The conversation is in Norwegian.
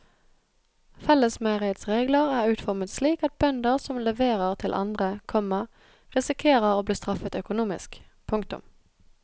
Fellesmeieriets regler er utformet slik at bønder som leverer til andre, komma risikerer å bli straffet økonomisk. punktum